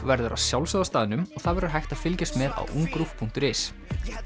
verður að sjálfsögðu á staðnum og það verður hægt að fylgjast með á ungruv punktur is